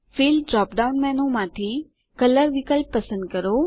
fill drop down મેનૂમાંથી colour વિકલ્પ પસંદ કરો